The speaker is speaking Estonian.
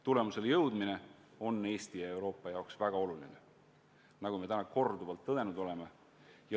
Tulemuseni jõudmine on Eesti ja Euroopa jaoks väga oluline, nagu me täna korduvalt tõdenud oleme.